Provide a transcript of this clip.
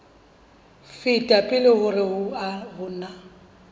feta pele hore ho na